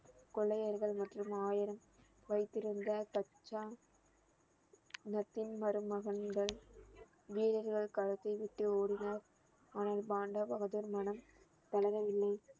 கொள்ளையர்கள் மற்றும் ஆயிரம் வைத்திருந்த கச்சான் நப்பின் மருமகன்கள் வீரர்கள் களத்தை விட்டு ஓடினர் ஆனால் பாண்டா பகதூர் மனம் தளரவில்லை